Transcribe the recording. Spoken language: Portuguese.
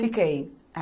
Fiquei.